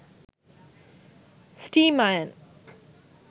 steam iron